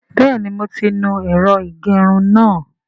Bẹ́ẹ̀ni mo ti nu ẹ̀rọ ìgẹrun náà